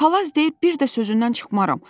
Palaz deyir bir də sözündən çıxmaram.